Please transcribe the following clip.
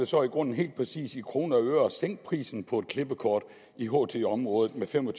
så i grunden helt præcis i kroner og øre koster at sænke prisen på klippekort i ht området med fem og